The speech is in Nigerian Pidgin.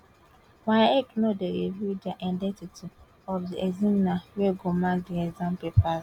waec no dey reveal di identity of di examiners wey dey mark di exam papers